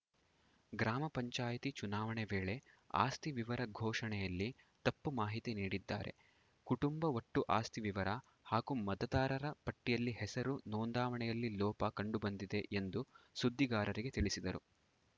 ಗ್ರಾಮ ಪಂಚಾಯಿತಿ ಚುನಾವಣೆ ವೇಳೆ ಆಸ್ತಿ ವಿವರ ಘೋಷಣೆಯಲ್ಲಿ ತಪ್ಪು ಮಾಹಿತಿ ನೀಡಿದ್ದಾರೆ ಕುಟುಂಬ ಒಟ್ಟು ಆಸ್ತಿ ವಿವರ ಹಾಗೂ ಮತದಾರರ ಪಟ್ಟಿಯಲ್ಲಿ ಹೆಸರು ನೋಂದಾವಣಿಯಲ್ಲಿ ಲೋಪ ಕಂಡುಬಂದಿದೆ ಎಂದು ಸುದ್ದಿಗಾರರಿಗೆ ತಿಳಿಸಿದರು